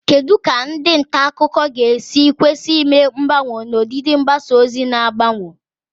Kedu ka ndị nta akụkọ ga-esi kwesị ime mgbanwe n'ọdịdị mgbasa ozi na-agbanwe?